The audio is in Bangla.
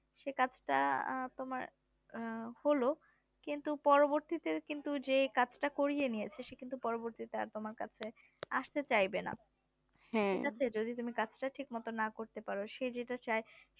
সে কাজটা তোমার আহ হলো কিন্তু পরবতীতে কিন্তু যে কাজটা করিয়েনিয়েছে সে কিন্তু পরবর্তীতে তোমার কাছে আস্তে চাইবেনা যদি তুমি কাজটা ঠিক মতো না করতে পারো সে যেটা চাই